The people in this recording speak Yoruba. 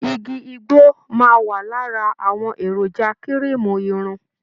Igi igbó máa wà lára àwọn èròjà kirimu irun.